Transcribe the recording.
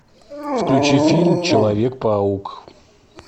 включи фильм человек паук